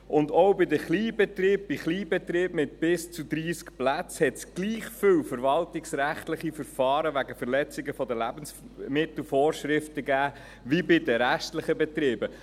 Auch bei den Kleinbetrieben mit bis zu 30 Plätzen gab es gleich viele verwaltungsrechtliche Verfahren wegen Verletzung von Lebensmittelvorschriften wie bei den restlichen Betrieben.